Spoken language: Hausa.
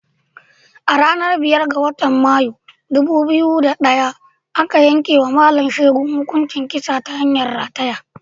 A ranar biyar ga watan Mayu, ɗubu biyu da ɗaya aka yankewa Mallam Segun hukuncin kisa ta hanyar rataya.